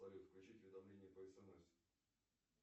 салют включить уведомления по смс